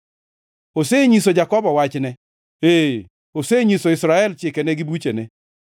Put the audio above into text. Osenyiso Jakobo wachne, ee, osenyiso Israel chikene gi buchene.